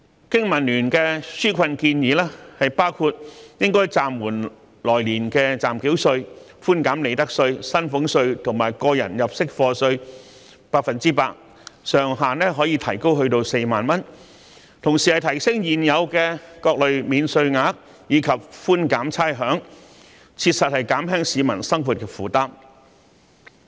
經民聯的紓困建議包括暫緩來年的暫繳稅；寬減利得稅、薪俸稅及個人入息課稅百分之一百，上限可提高至4萬元；提升各類免稅額及寬減差餉，以切實減輕市民的生活負擔。